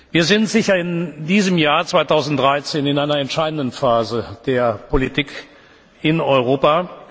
Wir sind in diesem Jahr, 2013, sicher in einer entscheidenden Phase der Politik in Europa.